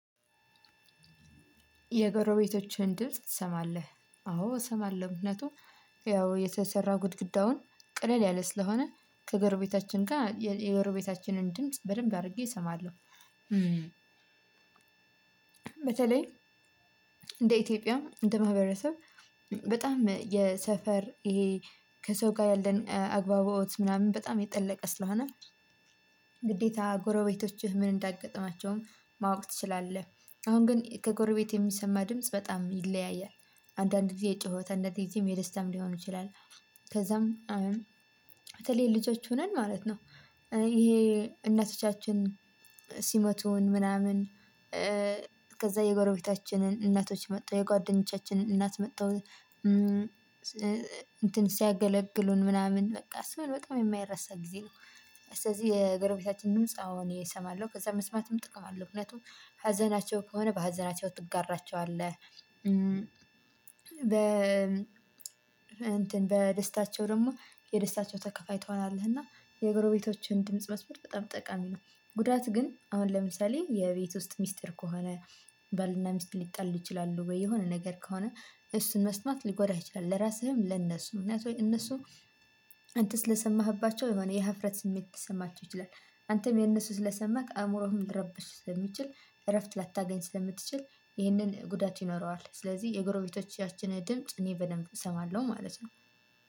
የጎረቤቶችህን ድርጅት ትሰማለህ አዎ እሰማለሁ ምክንያቱም ያው የተሰራ ጉድግዳውን ቀለል ያለ ስለሆነ ከጎረቤታችን ጋር የጎረቤታችንን ድምጽ በደንብ አድርጌ እሰማለሁ። በተለይ እንደ ኢትዮጵያ እንደ ማህበረሰብ በጣም የሰፈር እሄ ከሰው ጋ ያለኝ አግባቦት ምናምን በጣም የጠለቀ ስለሆነ። ግዴታ ጎረቤቶችህ ምን እንዳይገጥማቸውም ማወቅ ትችላለህ። አሁን ግን ከጎረቤት የሚሰማ ድምጽ በጣም ይለያያል። አንዳንድ ጊዜ የጩሀ አንዳንድ ግዜም የደስታም ሊሆን ይችላል። ከዛም በተለይ ልጆች ሆነን ማለት ነው። ይሄ እናቶቻችን ስመቱን ምናምን ከዛ የጎረቤታችንን እናቶች መጥተው የጓደኞቻችንን እናት መተው እንትን ሲያገለግሉን ምናምን በቃ እሱን በጣም የማይረሳ ጊዜ ነው። ስለዚህ የገረቤታችን ድምጽ አዎ እኔ እሰማለሁ ከዛ መስማትም ጥቅም አለው። ምክንያቱም ሀዘናቸው ከሆነ በሀዘናቸው ትጋራቸዋለህ። በ እንትን በደስታቸው ደግሞ የደስታቸው ተከፋይ ትሆናለህ። እና የጎረቤቶችን ድምጽ መስማት በጣም ጠቃሚ ነው። ጉዳት ግን አሁን ለምሳሌ የቤት ውስጥ ሚስጥር ከሆነ ባል እና ሚስት ሊጣሉ ይቺላሉ ወይ የሆነ ንግር ከሆነ አሱን መስማት ሊጎዳህ ይቺላል። ለራስህም ለነሱም እነሱም አንተ ስለሰማህባቸው የሆነ የሀፍረት ስሜት ሊሰማቸው ይችላል። አንተም የእነሱ ስለሰማክ አእምሮህም ሊረበሽ ስለሚችል እረፍት ላታገኝ ስለምትችል ይህንን ጉዳት ይኖረዋል። ስለዚህ የጎረቤቶቻችን ድምጽ እኔ በደንብ እሰማለሁ ማለት ነው።